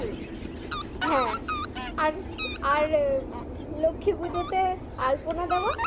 হ্যাঁ আর আর লক্ষীপূজোতে আলপনা দেওয়া?